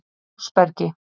Fossbergi